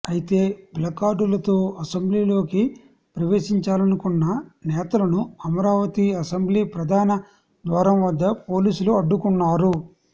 అయితే ప్లకార్డులతో అసెంబ్లీ లోకి ప్రవేశించాలనుకున్న నేతలను అమరావతి అసెంబ్లీ ప్రధాన ద్వారం వద్ద పోలీసులు అడ్డుకున్నారు